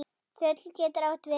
Þöll getur átt við